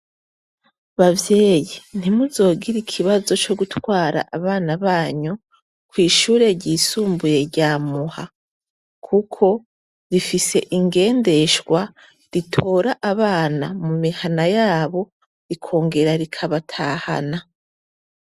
Bavyeyi, ntimuzogire ikibazo cogutwara abana banyu kwishure ryisumbuye rya muha kuko rifise ingendeshwa ritora abana mumihana yabo rikongera rikabatahana.